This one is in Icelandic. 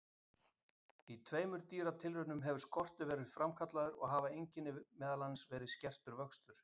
Í tveimur dýratilraunum hefur skortur verið framkallaður og hafa einkenni verið meðal annars skertur vöxtur.